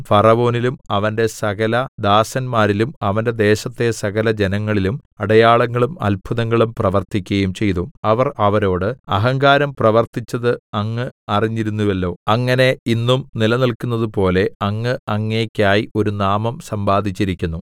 ഫറവോനിലും അവന്റെ സകലദാസന്മാരിലും അവന്റെ ദേശത്തെ സകല ജനങ്ങളിലും അടയാളങ്ങളും അത്ഭുതങ്ങളും പ്രവർത്തിക്കയും ചെയ്തു അവർ അവരോട് അഹങ്കാരം പ്രവർത്തിച്ചത് അങ്ങ് അറിഞ്ഞിരുന്നുവല്ലോ അങ്ങനെ ഇന്നും നിലനിൽക്കുന്നതുപോലെ അങ്ങ് അങ്ങേയ്ക്കായി ഒരു നാമം സമ്പാദിച്ചിരിക്കുന്നു